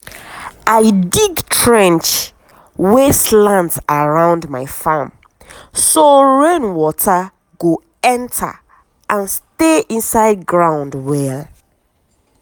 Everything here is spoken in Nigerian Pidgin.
i dig trench wey slant around my farm so rain water go enter and stay inside ground well.